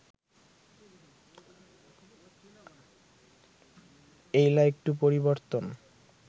এইলা একটু পরিবর্তন